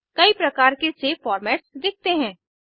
कई प्रकार के सेव फॉर्मेट्स दिखते हैं